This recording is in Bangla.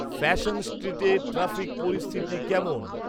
ফ্যাশন স্ট্রিটে ট্রাফিক পরিস্থিতি কেমন